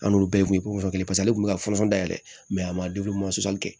An n'u bɛɛ tun ye kofɔlen paseke ale tun bɛ ka dayɛlɛ a ma kɛ